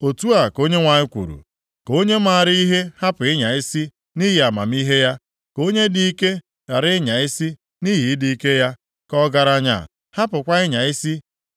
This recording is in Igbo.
Otu a ka Onyenwe anyị kwuru, “Ka onye maara ihe hapụ ịnya isi nʼihi amamihe ya, ka onye dị ike ghara ịnya isi nʼihi ịdị ike ya, ka ọgaranya hapụkwa ịnya isi